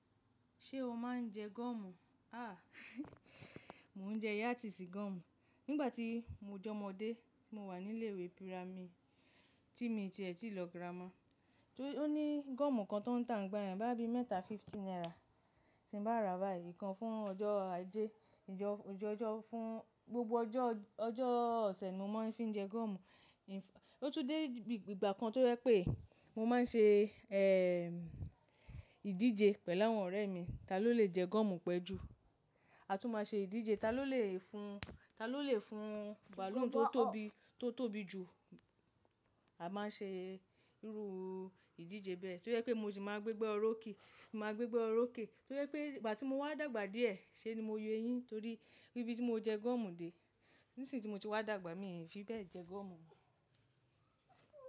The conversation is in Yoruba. Ṣé o máa ń jẹ gọ́mù? Aah mò ń jẹ yátì sí gọ́mù. Nígbà tí mo jẹ́ ọmọdé tí mo wà ní ilé ìwé pirami tí mi ti ẹ̀ tì lọ girama, ó ní gọ́mù kan tó ń tà nígbà yẹn boya bí mẹ́ta fifty naira. Tí n bá ra báyìí ikan fún ọjọ́ Ajé, ọjọ́ fún gbogbo ọjọ́, ọjọ́ ọ̀sẹ̀ ni mo máa ń fi ń jẹ gọ́mù. Ó tún dé ìgbà kan tó yẹ pé mo máa ń ṣe, eh, ìdíje pẹ̀lú àwọn ọ̀rẹ́ mi, ta ló lè jẹ gọ́mù pẹ́ jù. A tún máa ṣe ìdíje ta ló lè fún, ta ló lè fún baloon tó tóbi, tó tóbi jù. A máa ń ṣe irú ìdíje bẹ́ẹ̀. To je pé mo sì máa gbégbá ọrókè, n máa gbégbá ọrókè. To je pé ìgbà tí mo wá dàgbà díẹ̀, ṣe ni mo yo eyín torí ibí tí mo jẹ gọ́mù dé. Nísìń tí mo ti wá dàgbà mi fi bẹ́ẹ̀ jẹ gọ́mù mọ́.